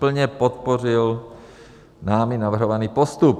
Plně podpořil námi navrhovaný postup.